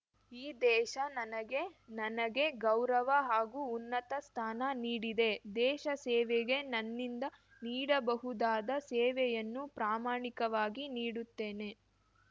ಈ ದೇಶ ನನಗೆ ನನಗೆ ಗೌರವ ಹಾಗೂ ಉನ್ನತ ಸ್ಥಾನ ನೀಡಿದೆ ದೇಶ ಸೇವೆಗೆ ನನ್ನಿಂದ ನೀಡಬಹುದಾದ ಸೇವೆಯನ್ನು ಪ್ರಾಮಾಣಿಕವಾಗಿ ನೀಡುತ್ತೇನೆ